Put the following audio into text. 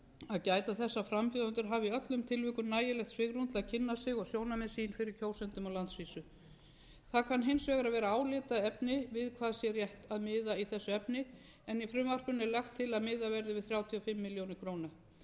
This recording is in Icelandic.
að gæta þess að frambjóðendur hafi í öllum tilvikum nægilegt svigrúm til að kynna sig og sjónarmið sín fyrir kjósendum á landsvísu það kann hins vegar að vera álitaefni við hvað sé rétt að miða í þessu efni en í frumvarpinu er lagt til að miðað verði við þrjátíu og